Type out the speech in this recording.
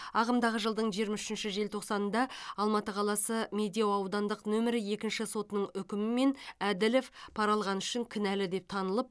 ағымдағы жылдың жиырма үшінші желтоқсанында алматы қаласы медеу аудандық нөмірі екінші сотының үкімімен әділов пара алғаны үшін кінәлі деп танылып